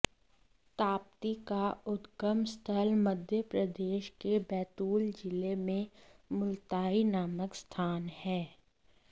ताप्ती का उद्गम स्थल मध्य प्रदेश के बैतूल जिले में मुल्ताई नामक स्थान है